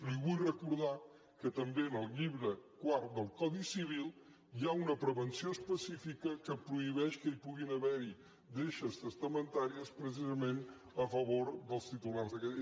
li vull recordar que també en el llibre quart del codi civil hi ha una prevenció específica que prohibeix que puguin haver hi deixes testamentàries precisament a favor dels titulars d’aquelles